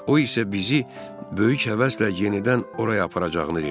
O isə bizi böyük həvəslə yenidən oraya aparacağını dedi.